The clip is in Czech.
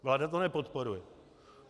Vláda to nepodporuje.